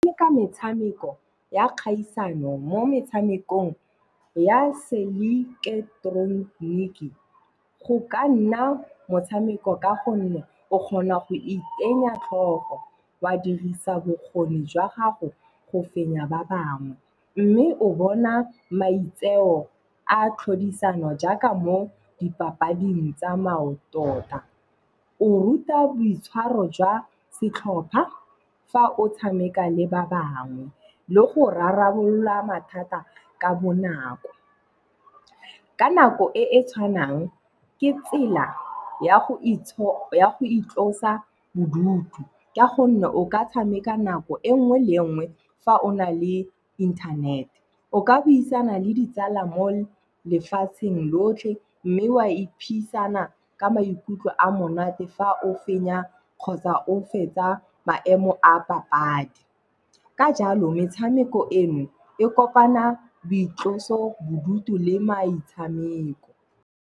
Le ka metshameko ya kgaisano mo metshamekong ya se ileketeroniki, go ka nna motshameko ka gonne o kgona go itsenya tlhoko wa dirisa bokgoni jwa gago go fenya ba bangwe. Mme o bona maitseo a tlhodisano jaaka mo dipapading tsa maoto tota. O ruta boitshwaro jwa setlhopha fa o tshameka le ba bangwe le go rarabolola mathata ka bonako. Ka nako e e tshwanang ke tsela ya go itlosa bodutu, ka gonne o ka tshameka nako e nngwe le nngwe fa o na le inthanete. O ka buisana le ditsala mo lefatsheng lotlhe mme o a iphisana ka maikutlo a monate fa o fenya kgotsa o fetsa maemo a papadi ka jalo metshameko eno e kopana boitlosobodutu le maitshameko.